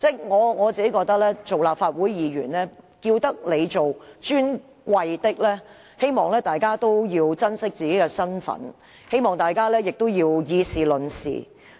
我認為立法會議員既獲稱為"尊貴的議員"，大家應該珍惜自己的身份。我希望大家以事論事。